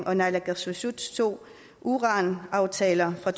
og naalakkersuisuts to uranaftaler fra